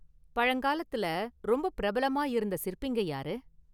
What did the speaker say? பழங்காலத்துல ரொம்ப பிரபலமா இருந்த சிற்பிங்க யாரு?